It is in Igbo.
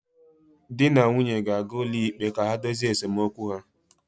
Di na nwunye ga-aga ụlọikpe ka ha dozie esemokwu ha